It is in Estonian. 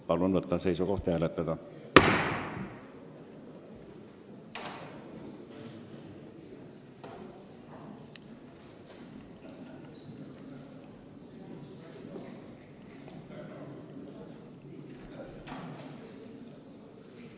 Palun võtta seisukoht ja hääletada!